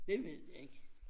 Det ved jeg ikke